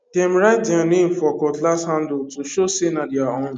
dem write their name for cutlass handle to show say na their own